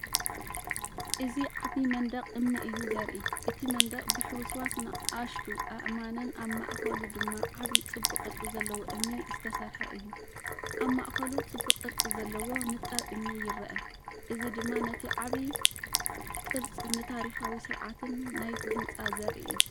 እዚ ዓቢ መንደቕ እምኒ እዩ ዘርኢ። እቲ መንደቕ ብሕውስዋስ ንኣሽቱ ኣእማንን ኣብ ማእከሉ ድማ ዓቢ ጽቡቕ ቅርጺ ዘለዎ እምኒ ዝተሰርሐ እዩ። ኣብ ማእከሉ ጽቡቕቅርጺ ዘለዎ ንጣብ እምኒ ይርአ፡እዚ ድማ ነቲ ዓቢ ቅርጽንታሪኻዊ ስርዓትን ናይቲ ህንጻ ዘርኢ እዩ።